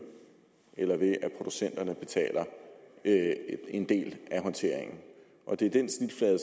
eller ved at producenterne betaler en del af håndteringen det er den snitflade